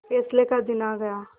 फैसले का दिन आ गया